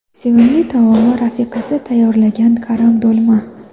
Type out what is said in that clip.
Sevimli taomi rafiqasi tayyorlagan karam do‘lma.